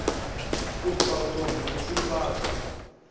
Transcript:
u faṱwa ha tshifha ṱo